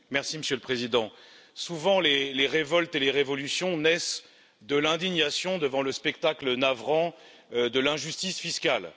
Monsieur le Président, souvent les révoltes et les révolutions naissent de l'indignation devant le spectacle navrant de l'injustice fiscale.